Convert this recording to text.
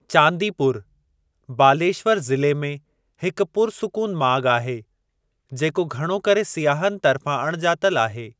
चांदी पूरु, बालेश्वर ज़िले में, हिक पुरसुकून माॻु आहे, जेको घणो करे सियाहनि तर्फ़ां अणॼातल आहे।